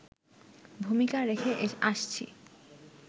ভূমিকা রেখে আসছি